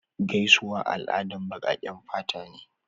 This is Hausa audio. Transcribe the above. Gaisuwa al'adan baƙaƙen fata ne.